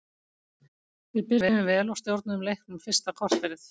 Við byrjuðum vel og stjórnuðum leiknum fyrsta korterið.